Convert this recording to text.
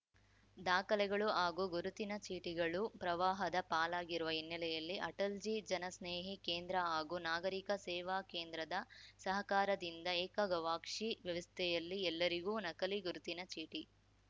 ದಾಖಲೆಗಳು ಹಾಗೂ ಗುರುತಿನ ಚೀಟಿಗಳು ಪ್ರವಾಹದ ಪಾಲಾಗಿರುವ ಹಿನ್ನೆಲೆಯಲ್ಲಿ ಅಟಲ್‌ಜೀ ಜನಸ್ನೇಹಿ ಕೇಂದ್ರ ಹಾಗೂ ನಾಗರಿಕ ಸೇವಾ ಕೇಂದ್ರದ ಸಹಕಾರದಿಂದ ಏಕಗವಾಕ್ಷಿ ವ್ಯವಸ್ಥೆಯಲ್ಲಿ ಎಲ್ಲರಿಗೂ ನಕಲಿ ಗುರುತಿನ ಚೀಟಿ